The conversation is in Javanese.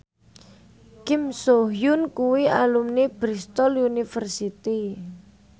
Kim So Hyun kuwi alumni Bristol university